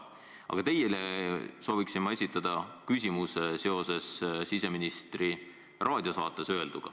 Aga teile soovin ma esitada küsimuse seoses siseministri öelduga raadiosaates.